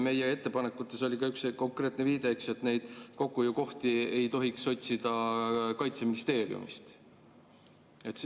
Meie ettepanekutes oli üks konkreetne viide, et neid kokkuhoiukohti ei tohiks otsida Kaitseministeeriumist.